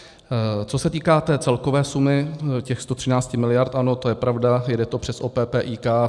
Co se týká té celkové sumy těch 113 miliard, ano, to je pravda, jede to přes OP PIK.